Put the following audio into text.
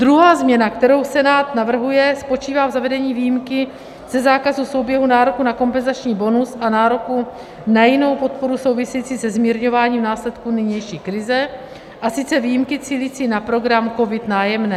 Druhá změna, kterou Senát navrhuje, spočívá v zavedení výjimky ze zákazu souběhu nároku na kompenzační bonus a nároku na jinou podporu související se zmírňováním následků nynější krize, a sice výjimky cílící na program COVID - Nájemné.